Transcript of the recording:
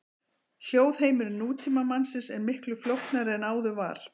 Hljóðheimur nútímamannsins er miklu flóknari en áður var.